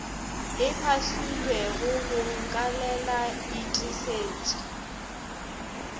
e fahlilwego go nkalela itesetše